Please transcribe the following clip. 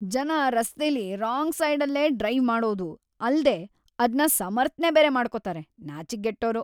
ಜನ ರಸ್ತೆಲಿ ರಾಂಗ್‌ ಸೈಡಲ್ಲ್ ಡ್ರೈವ್‌ ಮಾಡೋದೂ ಅಲ್ದೇ ಅದ್ನ ಸಮರ್ಥ್ನೆ ಬೇರೆ ಮಾಡ್ಕೊತಾರೆ, ನಾಚಿಕ್ಗೆಟ್ಟೋರು!